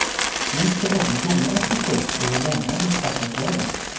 Nu ska även domarna piffa upp sig och lämna de svarta kläderna.